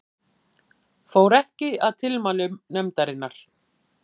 Fór ekki að tilmælum nefndarinnar